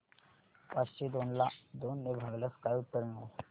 पाचशे दोन ला दोन ने भागल्यास काय उत्तर मिळेल